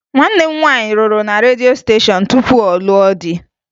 Nwanne m nwaanyị rụrụ na redio steshọn tupu ọ lụọ di